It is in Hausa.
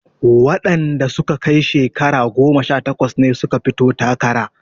Wanda suka kai shekaru goma sha takwas ne suka fito takara